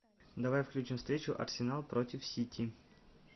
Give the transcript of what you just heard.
давай включим встречу арсенал против сити